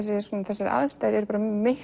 þessar aðstæður eru miklu